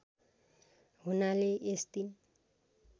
हुनाले यस दिन